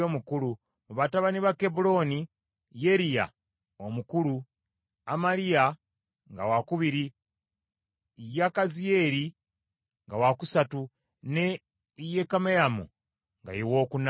Mu batabani ba Kebbulooni, Yeriya omukulu, Amaliya nga wakubiri, Yakaziyeri nga wakusatu, ne Yekameyamu nga ye wookuna.